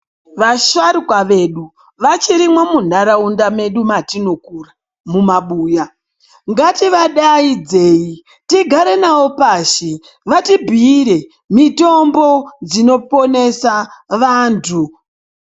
Vasharuka vedu vachirimo munharaunda medu matinokura mumabuya, ngativadaidzei tigare navo pashi vatibhiire mitombo dzinoponesa vantu